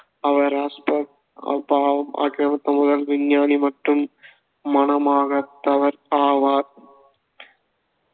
அவர் ராஷ்ட்ர ஆக்ரமித்த முதல் விஞ்ஞானி மற்றும் மணமாகாதவர் ஆவார்.